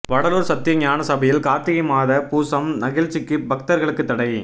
வடலூா் சத்திய ஞான சபையில் காா்த்திகை மாத பூசம் நிகழ்ச்சிக்கு பக்தா்களுக்கு தடை